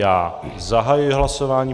Já zahajuji hlasování.